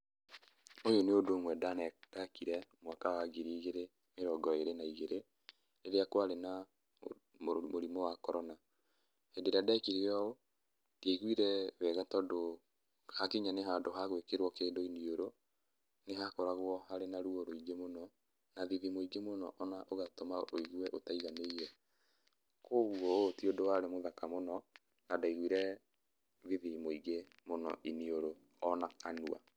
Ũyũ nĩ ũndũ ũmwe ndane, ndekire mwaka wa ngiri igĩrĩ mĩrongo ĩrĩ na igĩri, rĩrĩa kwarĩ na mũrimũ wa korona. Hĩndĩ ĩrĩa ndekire ũũ ndiaiguire wega tondũ hakinya nĩ handũ ha gũĩkĩrwo kĩndũ iniũrũ, nĩhakoragwo harĩ na ruo rũingĩ mũno na thithi mũingĩ mũno ona ũgatũma wĩigue ũtaiganĩire. Kwoguo ũyũ ti ũndũ warĩ mũthaka mũno, na ndaiguire thithi mũingĩ mũno iniũrũ ona kanua.